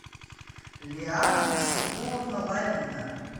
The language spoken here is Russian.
лиана насибуловна лалина